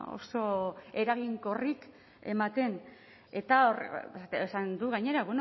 oso eraginkorrik ematen eta esan du gainera